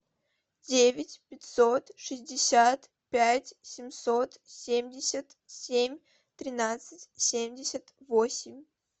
девять пятьсот шестьдесят пять семьсот семьдесят семь тринадцать семьдесят восемь